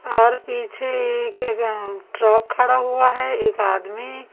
और पीछे के एक ट्रक खड़ा हुआ है एक आदमी--